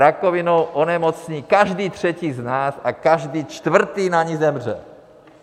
Rakovinou onemocní každý třetí z nás a každý čtvrtý na ni zemře.